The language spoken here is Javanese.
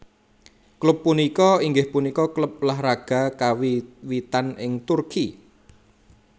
Klub punika inggih punika klub ulah raga kawiwitan ing Turki